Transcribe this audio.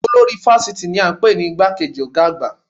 Olórí fásitì ni a npè ní igbá kejì ọ̀gá àgbà